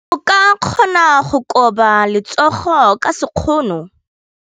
O ka kgona go koba letsogo ka sekgono.